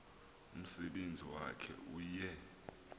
umsebenzi wakhe uye